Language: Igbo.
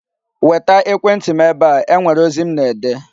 Weta ekwentị m ebe a. E nwere ozi m na-ede!